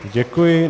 Děkuji.